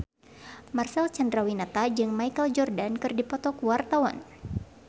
Marcel Chandrawinata jeung Michael Jordan keur dipoto ku wartawan